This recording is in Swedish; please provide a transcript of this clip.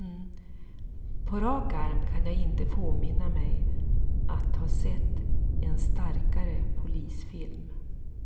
På rak arm kan jag inte påminna mig att ha sett en starkare polisfilm.